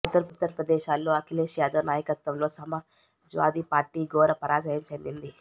ఉత్తరప్రదేశ్లో అఖిలేష్ యాదవ్ నాయకత్వంలో సమాజ్వాదీ పార్టీ ఘోర పరాజయం చెందింది